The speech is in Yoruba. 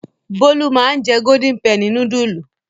Bólú máa ń jẹ Golden penny núdúlù.